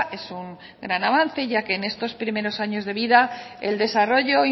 es un gran avance ya que en estos primeros años de vida el desarrollo